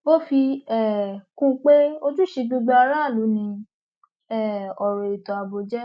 ó fi um kún un pé ojúṣe gbogbo aráàlú ni um ọrọ ètò ààbò jẹ